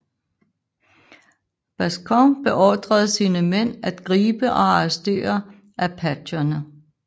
Bascom beordrede sine mænd at gribe og arrestere apacherne